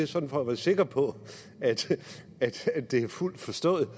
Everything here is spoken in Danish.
sådan at være sikker på at de er fuldt forstået